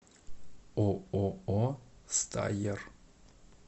ооо стайер